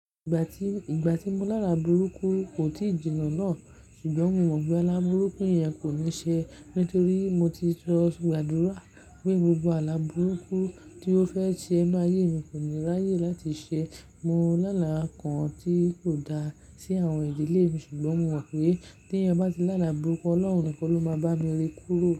Ìgbà tí, ìgbà tí mo lala burúkú kò tíì jiná náà ṣùgbọ́n mo mọ̀ pé àlá burúkú yẹn kò ní ṣe nítorí mo ti sọ gbàdúrà pé gbogbo àlá burúkú tí ó fẹ́ ṣe máyé mi kò ní ráyè láti ṣe. Mo láàlá kan tí kò da sí àwọn ìdílé mi ṣùgbọ́n mo mọ̀ pé tí ẹyan ba ti láàlá burúkú Ọlọ́run nìkan ló máa bá mi rí kúrò.